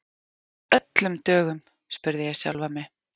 Af öllum dögum? spurði ég sjálfa mig.